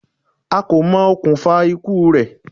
A kò mọ okùnfà ikú u rẹ̀.